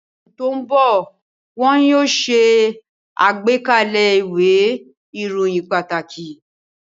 Ní oṣù tó ń bọ̀, wọ́n yóò ṣe àgbékalẹ̀ ìwé ìròyìn pàtàkì